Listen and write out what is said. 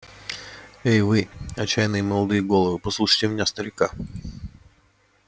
эй вы отчаянные молодые головы послушайте меня старика